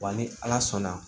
Wa ni ala sɔnna